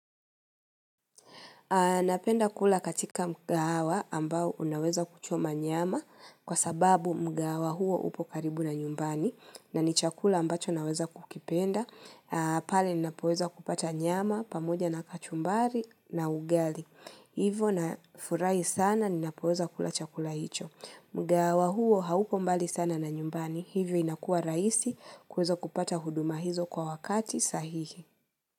Napenda kula katika mgahawa ambao unaweza kuchoma nyama kwa sababu mgahawa huo upo karibu na nyumbani na ni chakula ambacho naweza kukipenda. Pale nina poweza kupata nyama pamoja na kachumbari na ugali. Hivo na furahi sana ninapoweza kula chakula hicho. Mgahawa huo haupo mbali sana na nyumbani hivyo inakua raisi kuweza kupata huduma hizo kwa wakati sahihi.